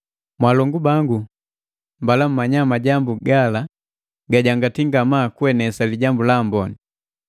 Mwaalongu bangu, mbala mmnya majambu gala gagambataa gajangati ngamaa kuenesa Lijambu la Amboni.